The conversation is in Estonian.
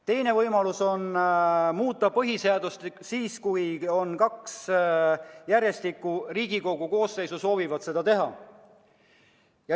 Teine võimalus muuta põhiseadust on, kui kaks järjestikust Riigikogu koosseisu soovivad seda teha.